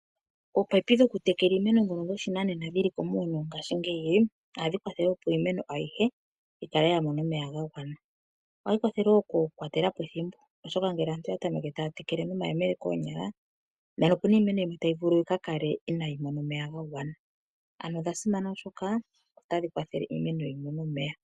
Omino dhoku tekela iimeno ndhono dho shinanena dhili ngashingeyi ohadhi kwathele opo iimeno ayihe yikale yamona omeya gagwana. Ohaya kwathele woo okubkwatelapo ethimbo oshoka ngele omuntu ta tekele nomayemele koonyala ,nena okuna iimeno yimwe tayi vulu yikakale inayi mona omeya ga gwana. Ano odha simana oshoka otadhi kwathele iimeno yimone omeya.